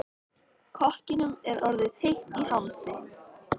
Kokkinum er orðið heitt í hamsi.